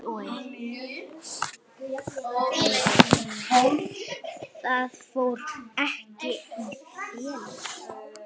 Það fór ekki í felur.